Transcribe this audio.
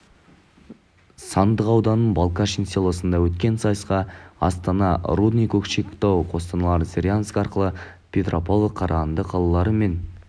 сандықтау ауданының балкашин селосында өткен сайысқа астана рудный көкшетау қостанай зыряновск арқалық петропавл қарағанды қалалары мен